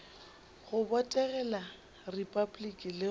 go botegela repabliki le go